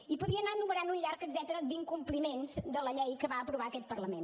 i podria anar enumerant un llarg etcètera d’incompliments de la llei que va aprovar aquest parlament